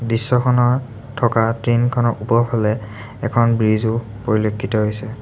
দৃশ্যখনৰ থকা ট্ৰেইন খনৰ ওপৰৰফালে এখন ব্ৰিজ ও পৰিলক্ষিত হৈছে।